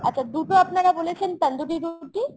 আচ্ছা দুটো আপনারা বলেছেন তান্দুরি রুটি